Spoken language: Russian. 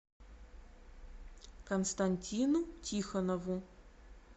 константину тихонову